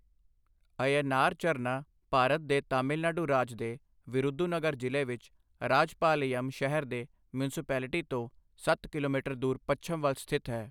ਅਯਨਾਰ ਝਰਨਾ ਭਾਰਤ ਦੇ ਤਾਮਿਲਨਾਡੂ ਰਾਜ ਦੇ ਵਿਰੁਧੁਨਗਰ ਜ਼ਿਲ੍ਹੇ ਵਿੱਚ ਰਾਜਪਾਲਯਮ ਸ਼ਹਿਰ ਦੇ ਮਿਊਂਸਪੇਲਿਟੀ ਤੋਂ ਸੱਤ ਕਿਲੋਮੀਟਰ ਦੂਰ ਪੱਛਮ ਵੱਲ ਸਥਿਤ ਹੈ।